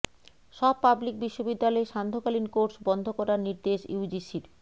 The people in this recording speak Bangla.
সব পাবলিক বিশ্ববিদ্যালয়ে সান্ধ্যকালীন কোর্স বন্ধ করার নির্দেশ ইউজিসির